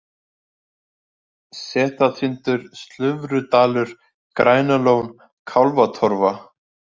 Setatindur, Slufrudalur, Grænalón, Kálfatorfa